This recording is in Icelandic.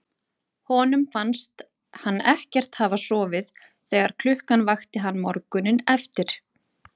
Honum fannst hann ekkert hafa sofið þegar klukkan vakti hann morguninn eftir.